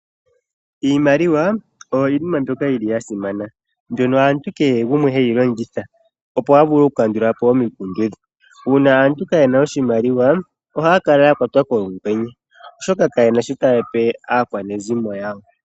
Iimaliwa oyo iinima mbyoka ya simana, mbyono aantu kehe gumwe heyi longitha opo a vule okukandula po omikundu dhe. Uuna aantu kaye na sha oshimaliwa ohaya kala ya kwatwa kolungwenye, oshoka ka ye na shoka ta ya pe aakwanezimo yawo.